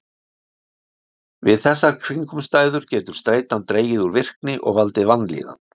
Við þessar kringumstæður getur streitan dregið úr virkni og valdið vanlíðan.